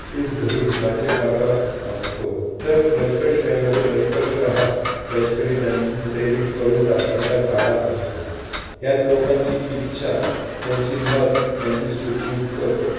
ठीस धरुन राज्यकारभार आखतो. तर लष्करशाहीमध्ये लष्करशाह लष्करी दंडेली करून राष्ट्राचा गाडा हाकतो. यात लोकांची इच्छा, त्यांचे मत, त्यांचे सुख-दुःख